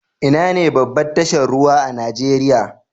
Inane babbar tashar ruwa a Nijeriya?